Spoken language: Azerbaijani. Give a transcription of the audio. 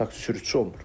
Taksi sürücüsü olmur.